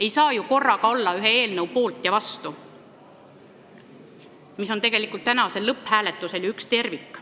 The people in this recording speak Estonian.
Ei saa ju korraga olla ühe eelnõu poolt ja vastu, tänasel lõpphääletusel on see aga üks tervik.